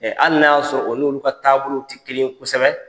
hali n'a y'a sɔrɔ o n'olu ka taabolow ti kelen ye kosɛbɛ